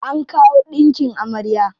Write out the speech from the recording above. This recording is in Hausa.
An kawo ɗinkin amarya.